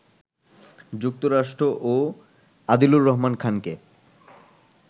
যুক্তরাষ্ট্রও আদিলুর রহমান খানকে